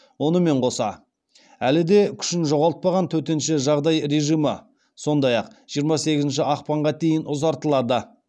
онымен қоса әлі де күшін жоғалтпаған төтенше жағдай режимі сондай ақ жиырма сегізінші ақпанға дейін ұзартылады